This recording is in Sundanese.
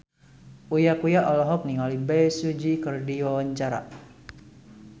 Uya Kuya olohok ningali Bae Su Ji keur diwawancara